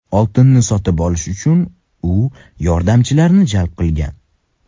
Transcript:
Oltinni sotib olish uchun u yordamchilarni jalb qilgan.